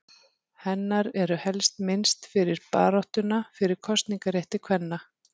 Hennar er helst minnst fyrir baráttuna fyrir kosningarétti kvenna.